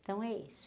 Então é isso.